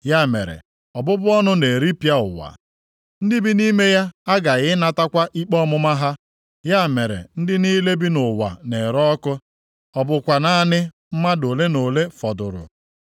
Ya mere, ọbụbụ ọnụ na-eripịa ụwa; ndị bi nʼime ya aghaghị ịnatakwa ikpe ọmụma ha. Ya mere ndị niile bi nʼụwa na-ere ọkụ, ọ bụkwa naanị mmadụ ole na ole fọdụrụ.